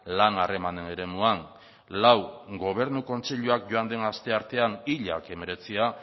lan harremanen eremuan lau gobernu kontseiluak joan den asteartean hilak hemeretzia